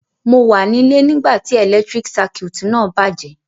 Mo wa nílé nígbàtí electric circuit náà bàjẹ́